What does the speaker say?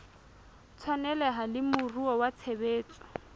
tshwaneleha le moruo wa tshebetso